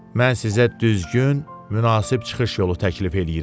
Mən sizə düzgün, münasib çıxış yolu təklif eləyirəm.